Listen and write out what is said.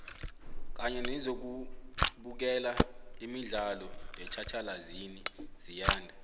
kanye nezokubukela imidlalo yetjhatjhalazini ziyanda